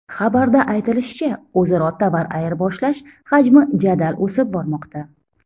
Xabarda aytilishicha, o‘zaro tovar ayirboshlash hajmi jadal o‘sib bormoqda.